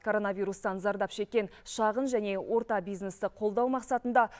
коронавирустан зардап шеккен шағын және орта бизнесті қолдау мақсатында